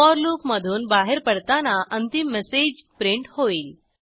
four loop मधून बाहेर पडताना अंतिम मेसेज प्रिंट होईल